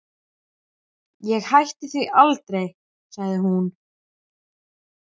Ég hætti því aldrei, sagði hún.